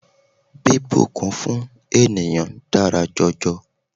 Bíbùnkún fún ènìyàn dára jọjọ.